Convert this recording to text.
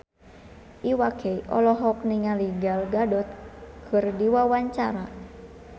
Iwa K olohok ningali Gal Gadot keur diwawancara